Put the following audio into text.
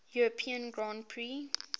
european grand prix